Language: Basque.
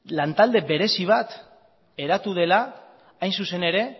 lantalde berezi bat eratu dela hain zuzen ere